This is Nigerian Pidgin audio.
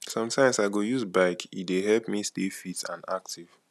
sometimes i go use bike e dey help me stay fit and active